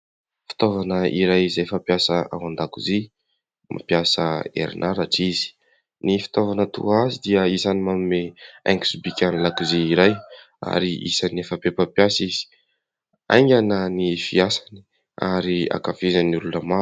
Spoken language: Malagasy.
Fitaovana iray izay fampiasa ao an-dakozia, mampiasa herinaratra izy. Ny fitaovana toa azy dia isan'ny manome haingo sy bika ny lakozia iray ary isan'ny efa be mpampiasa izy ; haingana ny fiasany ary ankafizin'ny olona maro.